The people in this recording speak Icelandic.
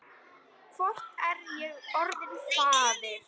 Hvort er ég orðinn faðir?